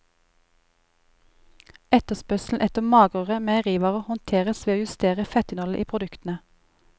Etterspørselen etter magrere meierivarer håndteres ved å justere fettinnholdet i produktene.